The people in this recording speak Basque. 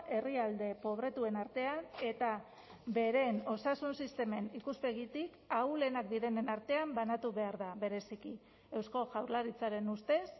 herrialde pobretuen artean eta beren osasun sistemen ikuspegitik ahulenak direnen artean banatu behar da bereziki eusko jaurlaritzaren ustez